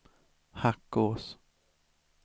Hackås